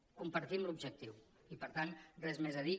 en compartim l’objectiu i per tant res més a dir